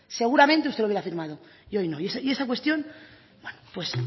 seguramente usted lo hubiera firmado y hoy no y esa cuestión es